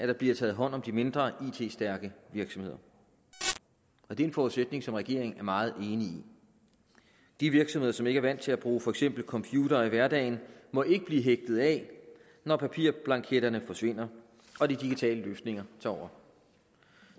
der bliver taget hånd om de mindre it stærke virksomheder og det er en forudsætning som regeringen er meget enig i de virksomheder som ikke er vant til at bruge for eksempel computer i hverdagen må ikke blive hægtet af når papirblanketterne forsvinder og de digitale løsninger tager over